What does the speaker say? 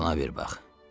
Buna bir bax.